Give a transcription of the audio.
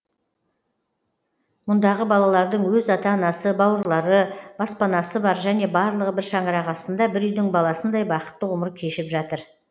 мұндағы балалардың өз ата анасы бауырлары баспанасы бар және барлығы бір шаңырақ астында бір үйдің баласындай бақытты ғұмыр кешіп жатыр